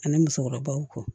Ani musokɔrɔbaw kɔ